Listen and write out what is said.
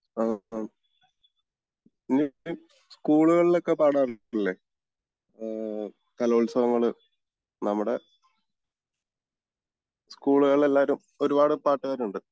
ആഹ്മ് നീ സ്കൂളുകളിൽ ഒക്കെ പാടാറുണ്ടല്ലേ ആഹ് കലോത്സവങ്ങള് നമ്മുടെ സ്കൂളുകളിൽ എല്ലാരും ഒരുപാട് പാട്ടുകാരുണ്ട്